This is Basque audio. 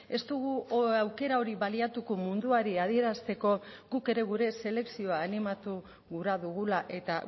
ez dugu aukera hori baliatuko munduari adierazteko guk ere gure selekzioa animatu gura dugula eta